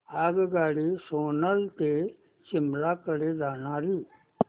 आगगाडी सोलन ते शिमला कडे जाणारी